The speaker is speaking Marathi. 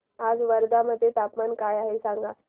आज वर्धा मध्ये तापमान काय आहे सांगा